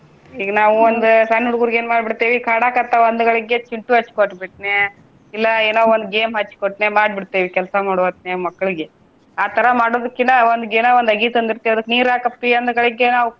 ಈಗ ನಾವು ಒಂದ ಸಣ್ಣ ಹುಡ್ಗುರಿಗೆ ಏನ ಮಾಡಿಬಿಡ್ತೇವಿ ಕಾಡಾಕತ್ತಾವ ಅಂದಗಳಿಗ್ಗೆ Chintu ಹಚ್ಚಿ ಕೊಟ್ಟ ಬಿಟ್ನ ಇಲ್ಲಾ ಏನೊ ಒಂದ game ಹಚ್ಚಿ ಕೊಟ್ನ ಮಾಡಿ ಬಿಡ್ತೇವಿ ಕೆಲ್ಸ ಮಾಡೊ ಹೊತ್ತಿನ್ಯಾಗ ಮಕ್ಳಿಗೆ. ಆ ತರಾ ಮಾಡೋದಕಿನ್ನ ಒಂದ ಗೇನ ಒಂದ ಅಗಿ ತಂದಿರ್ತಿವಿ ಅದಕ್ಕ ನೀರ ಹಾಕ ಅಪ್ಪಿ ಅಂದಗಳಿಗ್ಗೆನ ಅವ್ಕ.